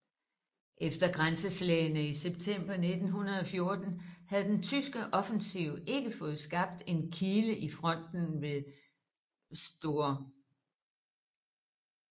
Efter grænseslagene i september 1914 havde den tyske offensiv ikke fået skabt en kile i fronten ved St